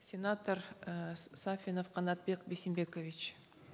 сенатор эээ сафинов канатбек бейсенбекович